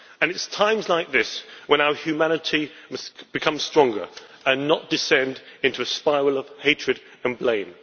It is at times like this that our humanity must become stronger and not descend into a spiral of hatred and blame.